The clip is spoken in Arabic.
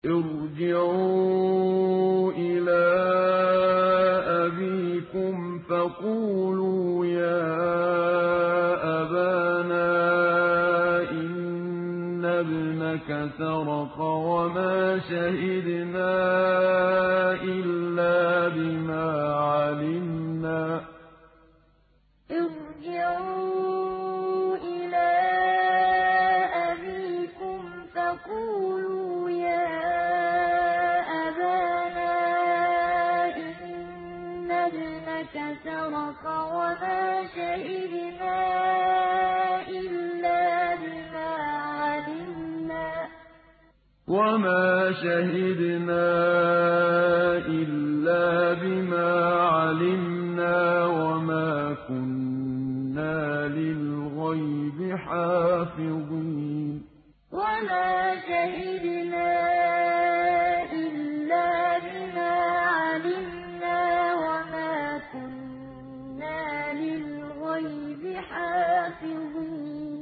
ارْجِعُوا إِلَىٰ أَبِيكُمْ فَقُولُوا يَا أَبَانَا إِنَّ ابْنَكَ سَرَقَ وَمَا شَهِدْنَا إِلَّا بِمَا عَلِمْنَا وَمَا كُنَّا لِلْغَيْبِ حَافِظِينَ ارْجِعُوا إِلَىٰ أَبِيكُمْ فَقُولُوا يَا أَبَانَا إِنَّ ابْنَكَ سَرَقَ وَمَا شَهِدْنَا إِلَّا بِمَا عَلِمْنَا وَمَا كُنَّا لِلْغَيْبِ حَافِظِينَ